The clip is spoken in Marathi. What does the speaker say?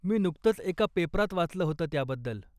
मी नुकतंच एका पेपरात वाचलं होतं त्याबद्दल.